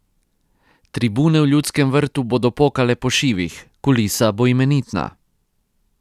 Tribune v Ljudskem vrtu bodo pokale po šivih, kulisa bo imenitna.